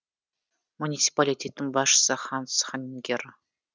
муниципалитеттің басшысы ханс ханингер